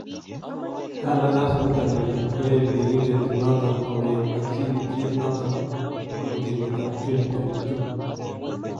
Kandaras niton nelel koyae biriindet noton kongeet ak sirityeet noton agoi kenyitab 2022